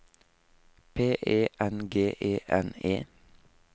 P E N G E N E